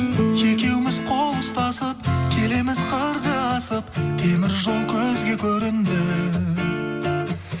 екеуміз қол ұстасып келеміз қырды асып темір жол көзге көрінді